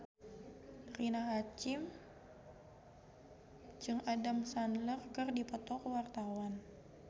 Rina Hasyim jeung Adam Sandler keur dipoto ku wartawan